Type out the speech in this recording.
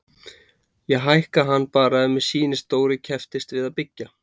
Ég hækka hann bara ef mér sýnist Dóri kepptist við að byggja.